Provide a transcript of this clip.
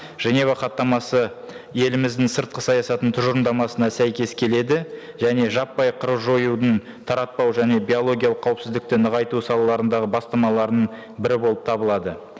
женева хаттамасы еліміздің сыртқы саясатының тұжырымдамасына сәйкес келеді және жаппай қыру жоюдың таратпау және биологиялық қауіпсіздікті нығайту салаларындағы бастамаларының бірі болып табылады